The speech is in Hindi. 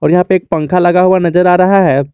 यहां पे एक पंखा लगा हुआ नजर आ रहा है।